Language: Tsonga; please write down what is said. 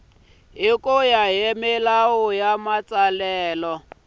ya hi milawu ya matsalelo